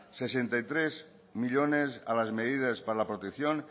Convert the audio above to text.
sesenta y tres millónes a las medidas para la protección